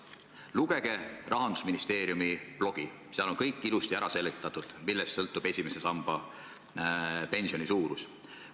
Lugege Rahandusministeeriumi blogi, seal on kõik ilusti ära seletatud, millest sõltub esimese samba pensioni suurus.